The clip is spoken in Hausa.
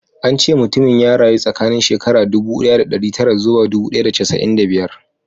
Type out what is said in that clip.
An ce mutumin ya rayu tsakanin shekara ɗubu ɗaya ɗari tara zuwa ɗubu ɗaya da casa'in da biyar